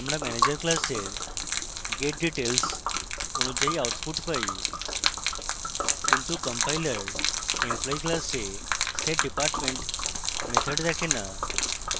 আমরা manager class getdetails অনুযায়ী output পাই কিন্তু compiler employee class setdepartment method দেখে so